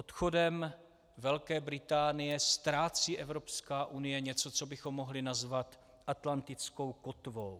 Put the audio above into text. Odchodem Velké Británie ztrácí Evropská unie něco, co bychom mohli nazvat atlantickou kotvou.